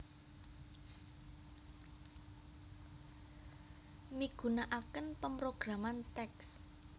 Migunakaken pamrograman TeX